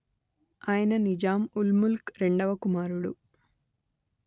ఆయన నిజాంఉల్ముల్క్ రెండవ కుమారుడు